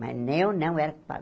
Mas eu não era culpada.